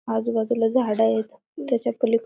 आजूबाजूला झाडं येत त्याच्या पलीक--